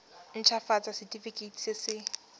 nt hafatsa setefikeiti se se